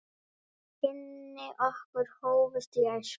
Kynni okkar hófust í æsku.